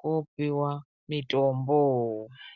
kopiwa mitombo.